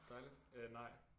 Dejligt øh nej